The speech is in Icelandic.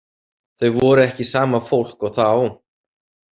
Þau voru ekki sama fólk og þá.